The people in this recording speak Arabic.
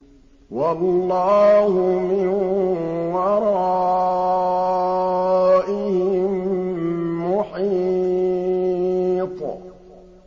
وَاللَّهُ مِن وَرَائِهِم مُّحِيطٌ